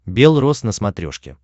бел роз на смотрешке